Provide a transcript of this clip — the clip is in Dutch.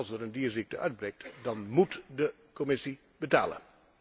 Want als er een dierziekte uitbreekt, dan móet de Commissie betalen.